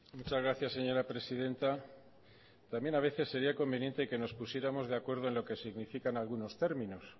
muchas gracias señora presidenta también a veces sería conveniente que nos pusiéramos de acuerdo en lo que significan algunos términos